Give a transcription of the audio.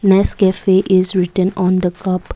nescafe is written on the cup.